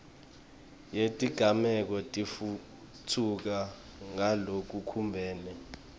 yetigameko itfutfuka ngalokubumbene